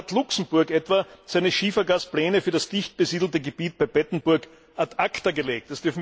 So hat Luxemburg etwa seine Schiefergaspläne für das dicht besiedelte Gebiet bei Bettemburg ad acta gelegt.